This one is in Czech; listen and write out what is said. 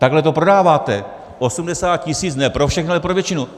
Takhle to prodáváte: 80 tisíc ne pro všechny, ale pro většinu.